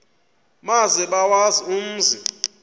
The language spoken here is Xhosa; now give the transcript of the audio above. maze bawazi umzi